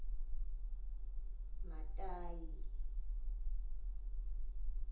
matayi